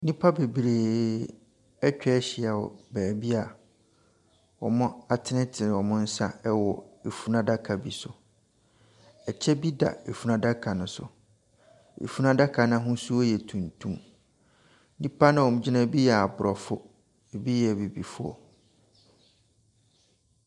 Nipa bebree ɛtwahyia wɔ baabi a wɔatenetene wɔn sa ɛwɔ efunuadaka bi so. Ɛkyɛ bi da efunuadaka no so. Efunuadaka no ahosuo yɛ tuntum. Nnipa na wɔgyina hɔ no ebi yɛ abrɔfo, ebi yɛ abibifoɔ.